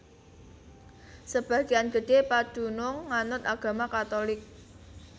Sebagéan gedhé padunung nganut agama Katulik